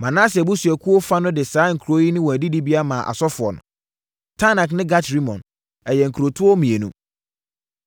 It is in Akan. Manase abusuakuo fa no de saa nkuro ne wɔn adidibea maa asɔfoɔ no: Taanak ne Gat-Rimon, ɛyɛ nkurotoɔ mmienu.